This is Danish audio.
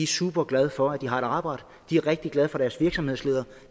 super glade for at de har et arbejde de er rigtig glade for deres virksomhedsleder